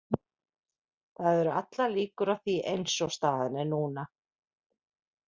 Það eru allar líkur á því eins og staðan er núna.